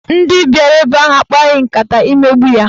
Ndị bịara ebe ahụ akpaghị nkata imegbu ya.